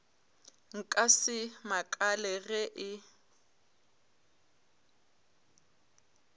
nka se makale ge e